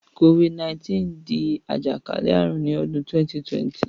COVID-19 dí àjàkálẹ̀ àrùn ni odún 2020